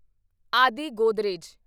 ਆਦਿ ਗੋਦਰੇਜ